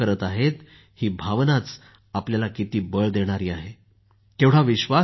ही भावना आपल्याला किती बळ देते केवढा विश्वास निर्माण करते